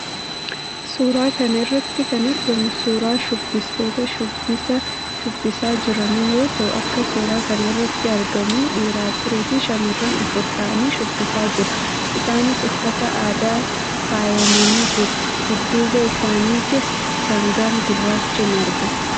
Suuraa kana irratti kan argamu suuraa shubbistoota shubbisa shubbisaa jiranii yoo ta'u, akka suuraa kana irratti argamuun dhiira afurii fi shamarran afur ta'anii shubbisaa jiru. Isaanis uffata aadaan faayamanii jiru. Dudduuba isaaniittis sangaan gurraachi in argama.